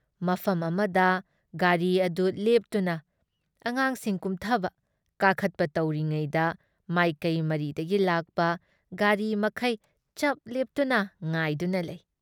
ꯃꯐꯝ ꯑꯃꯗ ꯒꯥꯔꯤ ꯑꯗꯨ ꯂꯦꯞꯇꯨꯅ ꯑꯉꯥꯡꯁꯤꯡ ꯀꯨꯝꯊꯕ, ꯀꯥꯈꯠꯄ ꯇꯧꯔꯤꯉꯩꯗ ꯃꯥꯏꯀꯩ ꯃꯔꯤꯗꯒꯤ ꯂꯥꯛꯄ ꯒꯥꯔꯤ ꯃꯈꯩ ꯆꯞ ꯂꯦꯞꯇꯨꯅ ꯉꯥꯏꯗꯨꯅ ꯂꯩ ꯫